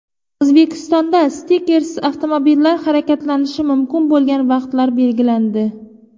O‘zbekistonda stikersiz avtomobillar harakatlanishi mumkin bo‘lgan vaqtlar belgilandi.